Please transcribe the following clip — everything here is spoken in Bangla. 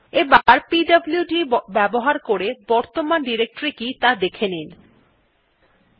এবার পিডব্লুড ব্যবহার করে বর্তমান ডিরেক্টরী কি ত়া দেখে নেওয়া যাক